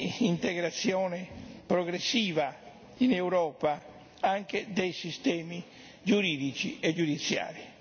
d'integrazione progressiva in Europa anche dei sistemi giuridici e giudiziari.